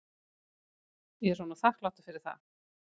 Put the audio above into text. Ég er honum þakklátur fyrir það.